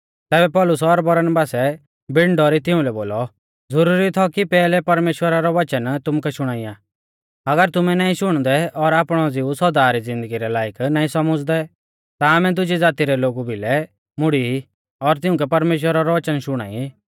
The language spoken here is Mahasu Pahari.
तैबै पौलुस और बरनबासै बिण डौरी तिउंलै बोलौ ज़ुरुरी थौ कि पेहलै परमेश्‍वरा रौ वचन तुमुकै शुणाइया अगर तुमै नाईं शुणदै और आपणौ ज़िऊ सौदा री ज़िन्दगी रै लायक नाईं सौमझ़दै ता आमै दुजी ज़ाती रै लोगु भिलै मुड़ी और तिउंकै परमेश्‍वरा रौ वचन शुणाई